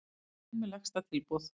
Heimamenn með lægsta tilboð